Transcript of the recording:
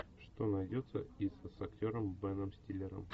что найдется из с актером беном стиллером